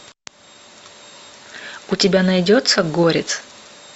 у тебя найдется горец